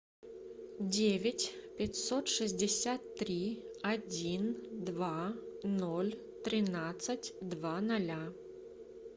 девять пятьсот шестьдесят три один два ноль тринадцать два ноля